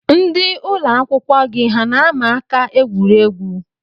Ndị ụlọakwụkwọ gị hà na-ama aka egwuregwu?